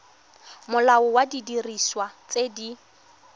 molao wa didiriswa tse di